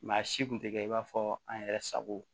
Maa si kun tɛ kɛ i b'a fɔ an yɛrɛ sago